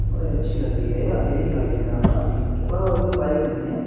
बड़े अच्छी लग रही है ये अकेली खड़ी है यहाँ प इसके पार और कोई बाइक नहीं है।